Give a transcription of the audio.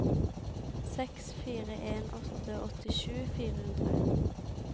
seks fire en åtte åttisju fire hundre